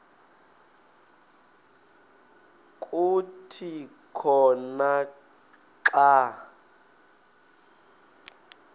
kuthi khona xa